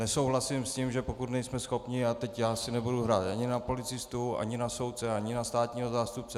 Nesouhlasím s tím, že pokud nejsme schopni... a teď já si nebudu hrát ani na policistu ani na soudce ani na státního zástupce.